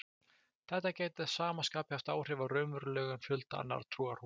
Þetta gæti að sama skapi haft áhrif á raunverulegan fjölda annarra trúarhópa.